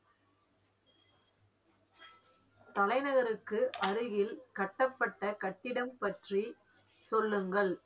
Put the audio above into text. தலைநகருக்கு அருகில் கட்டப்பட்ட கட்டிடம் பற்றி சொல்லுங்கள்